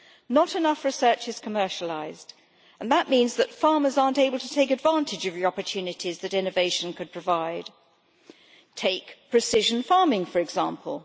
Not enough research is commercialised, and that means that farmers are not able to take advantage of the opportunities that innovation could provide, Take precision farming, for example.